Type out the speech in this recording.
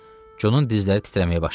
Conun dizləri titrəməyə başladı.